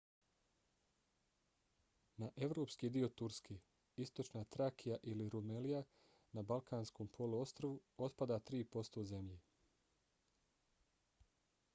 na evropski dio turske istočna trakija ili rumelija na balkanskom poluostrvu otpada 3% zemlje